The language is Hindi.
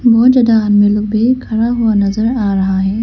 बहोत ज्यादा आदमी लोग भी खड़ा हुआ नजर आ रहा है।